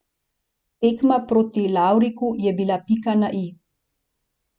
Tekma proti Larviku je bila pika na i.